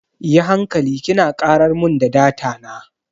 Yi hankali kina karar mun da data na.